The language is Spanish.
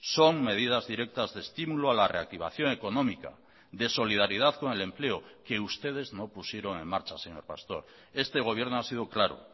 son medidas directas de estímulo a la reactivación económica de solidaridad con el empleo que ustedes no pusieron en marcha señor pastor este gobierno ha sido claro